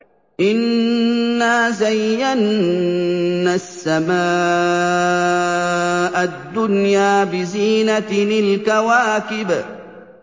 إِنَّا زَيَّنَّا السَّمَاءَ الدُّنْيَا بِزِينَةٍ الْكَوَاكِبِ